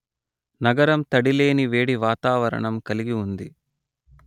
నగరం తడి లేని వేడి వాతావరణం కలిగి ఉంది